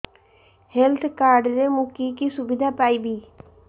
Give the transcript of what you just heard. health card ରେ ମୁଁ କି କି ସୁବିଧା ପାଇବି